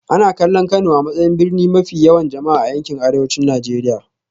Ana kallon Kano a matsayin birni mafi yawan jama'a a yankin Arewacin Najeriya